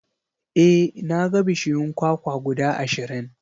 E, na ga bishiyun kwakwa guda ashirin.